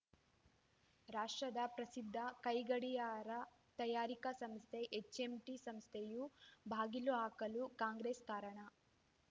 ರಾಷ್ಟ್ರದ ಪ್ರಸಿದ್ಧ ಕೈ ಗಡಿಯಾರ ತಯಾರಿಕಾ ಸಂಸ್ಥೆ ಎಚ್‌ಎಂಟಿ ಸಂಸ್ಥೆಯು ಬಾಗಿಲು ಹಾಕಲು ಕಾಂಗ್ರೆಸ್‌ ಕಾರಣ